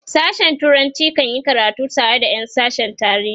sashen turanci kan yi karatu tare da Yan sashen tarihi